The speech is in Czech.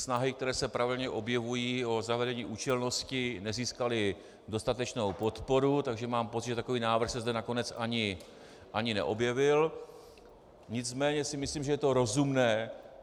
Snahy, které se pravidelně objevují, o zavedení účelnosti, nezískaly dostatečnou podporu, takže mám pocit, že takový návrh se zde nakonec ani neobjevil, nicméně si myslím, že je to rozumné.